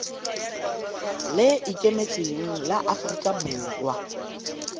le ikemetseng la aforika borwa